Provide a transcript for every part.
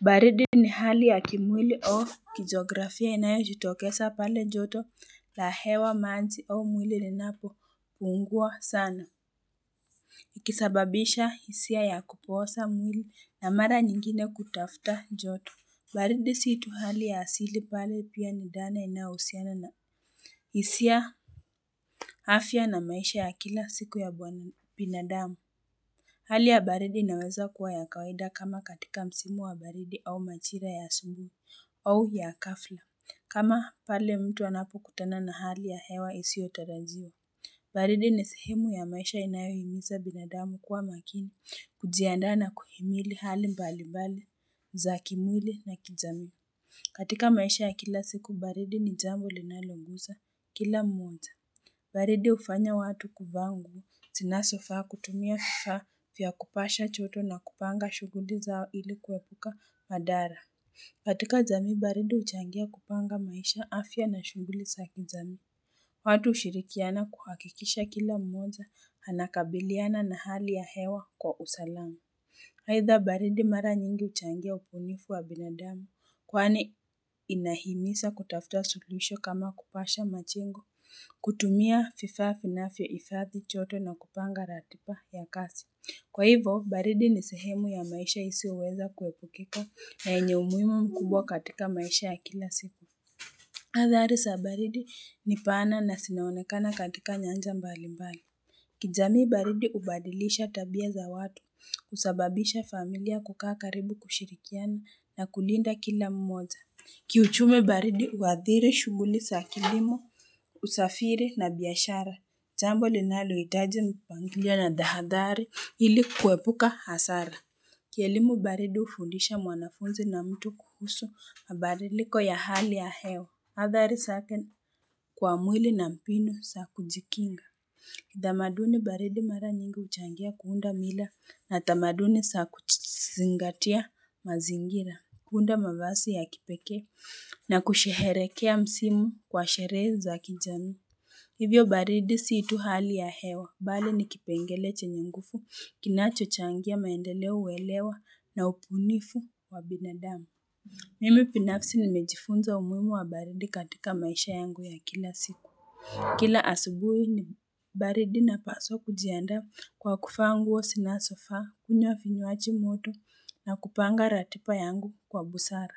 Baridi ni hali ya kimwili of kijografia inayo jitokeza pale joto la hewa maanzi au mwili linapo pungua sana. Ikisababisha hisia ya kupoosa mwili na mara nyingine kutafta joto. Baridi si tu hali ya asili pale pia ni dhana inausiana na hisia afya na maisha ya kila siku ya binadamu. Hali ya baridi inaweza kuwa ya kawaida kama katika msimu wa baridi au majira ya asubuhi au ya ghafla kama pale mtu anapokutana na hali ya hewa isiyotarajiwa baridi ni sehemu ya maisha inayohimiza binadamu kuwa makini kujiandaa na kuhimili hali mbali mbali za kimwili na kijamii. Katika maisha ya kila siku baridi ni jambo linaloguza kila mmoja. Baridi hufanya watu kuvaa nguo zinazofaa kutumia vifaa vya kupasha joto na kupanga shuguli zao ili kuepuka madhara. Katika jamii baridi huchangia kupanga maisha afya na shughuli za kijamii. Watu hushirikiana kuhakikisha kila mmoja anakabiliana na hali ya hewa kwa usalama. Haitha baridi mara nyingi huchangia ubunifu wa binadamu kwani inahimiza kutafuta suluhisho kama kupasha majengo. Kutumia vifaa vinavyo hifadhi joto na kupanga ratiba ya kazi Kwa hivo, baridi ni sehemu ya maisha isiyo weza kuepukika na yenye umuhimu mkubwa katika maisha ya kila siku adhari za baridi ni pana na zinaonekana katika nyanja mbali mbali kijamii baridi hubadilisha tabia za watu, husababisha familia kukaa karibu kushirikiani na kulinda kila mmoja Kiuchumi baridi huadhiri shuguli za kilimo, usafiri na biashara. Jambo linalo hitaji mpangilio na tahadhari ili kuepuka hasara. Kielimu baridi hufundisha mwanafunzi na mtu kuhusu, mabadiliko ya hali ya hewa. Adhari zake kwa mwili na mbinu za kujikinga. Tamaduni baridi mara nyingi huchangia kuunda mila na tamaduni za kuzingatia mazingira. Kuunda mavazi ya kipeke na kusherekea msimu kwa sherehe za kijamii. Hivyo baridi si tu hali ya hewa. Mbal ni kipengele chenye nguvu, kinacho changia maendelo kuelewa na ubunifu wa binadamu. Mimi binafsi ni nimejifunza umuhimu wa baridi katika maisha yangu ya kila siku. Kila asubuhi ni baridi napaswa kujiandaa kwa kuvaa nguo zinazo faa, kunywa vinywaji moto na kupanga ratiba yangu kwa busara.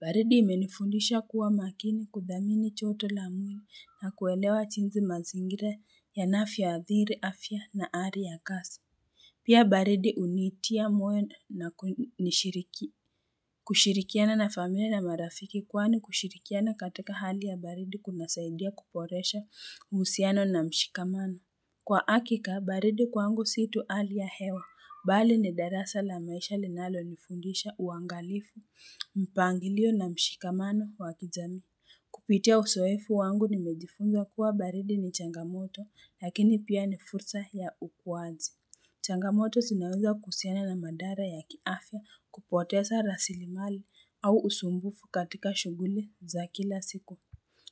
Baridi imenifundisha kuwa makini kudhamini joto la mwili na kuelewa jinsi mazingira yanavyo adhiri afya na hali ya kazi. Pia baridi hunitia moyo na kunishiriki. Kushirikiana na familia na marafiki kwa ni kushirikiana katika hali ya baridi kuna saidia kuboresha uhusiano na mshikamano Kwa hakika, baridi kwangu si tu hali ya hewa, mbali ni darasa la maisha linalo nifundisha uangalifu, mpangilio na mshikamano wakijamii Kupitia uzoefu wangu nimejifunza kuwa baridi ni changamoto, lakini pia ni fursa ya ukuaji Changamoto zinaweza kuhusiana na madhara ya kiafya kupoteza rasili mali au usumbufu katika shuguli za kila siku.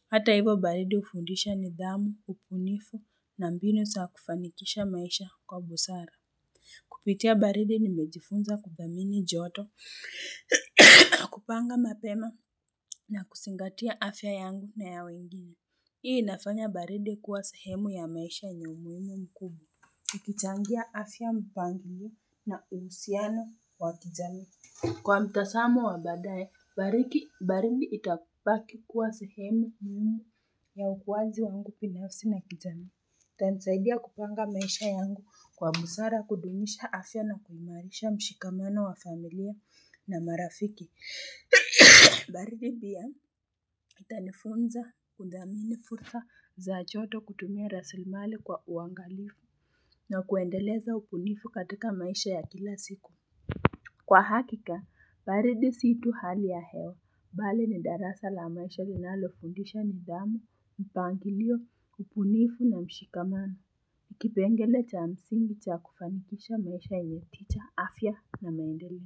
Hata hivo baridi hufundisha nidhamu, ubunifu na mbinu za kufanikisha maisha kwa busara. Kupitia baridi nimejifunza kudhamini joto, kupanga mapema na kuzingatia afya yangu na ya wengine. Hii inafanya baridi kuwa sahemu ya maisha yenye umuhimu mkuu. Ikichangia afya mpangilio na usiano wa kijamii. Kwa mtazamo wa badaye, baridi baridi itabaki kuwa sehemu muhimu ya ukuwaji wangu binafsi na kijamii. Itanisaidia kupanga maisha yangu kwa busara kudumisha afya na kuimarisha mshikamano wa familia na marafiki. Baridi pia itanifunza kundhamini fursa za joto kutumia rasili mali kwa uangalifu na kuendeleza ubunifu katika maisha ya kila siku. Kwa hakika, baridi si tu hali ya hewa, mbali ni darasa la maisha linalo fundisha nidhamu, mpangilio, ubunifu na mshikamano. Kipengele cha msingi cha kufanikisha maisha yanye picha, afya na maendeleo.